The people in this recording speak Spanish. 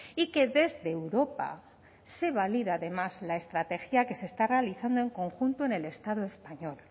y que desde europa se valida además la estrategia que se está realizando en conjunto en el estado español